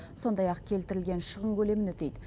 сондай ақ келтірілген шығын көлемін өтейді